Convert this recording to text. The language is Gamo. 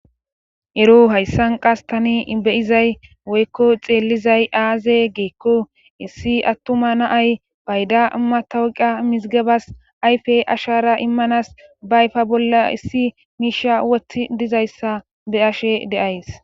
ero hayssan qas tani beyizay woykko xeellizay aaze giikko issi attuma naay fayda matawqa mizigebas ayfe ashara immanas baayfa bolla issi miisha wothi dizayssa be'she de'ays